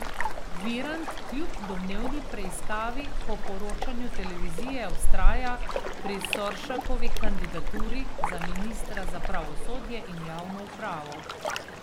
Virant kljub domnevni preiskavi po poročanju televizije vztraja pri Soršakovi kandidaturi za ministra za pravosodje in javno upravo.